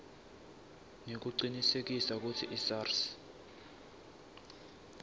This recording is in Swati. nekucinisekisa kutsi isars